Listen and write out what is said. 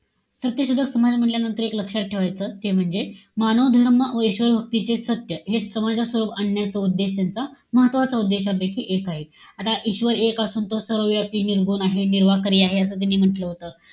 सत्यशोधक समाज म्हण्टल्यानंतर एक लक्षात ठेवायचं. ते म्हणजे, मानवधर्म व ईश्वर भक्तीचे सत्य हे समाजासमोर आणण्याचा उद्देश त्यांचा, महत्वाच्या उद्देशांपैकी एक आहे. आता ईश्वर एक असून तो सर्वव्यापी, निर्गुण आहे, निराकारी आहे, असं त्यांनी म्हंटल होतं.